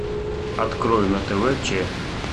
открой на тв че